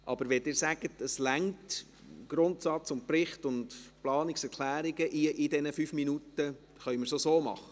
Wenn Sie mir nun aber sagen, dass es reicht, Grundsatz, Bericht und Planungserklärungen in fünf Minuten zu behandeln, können wir es auch so machen.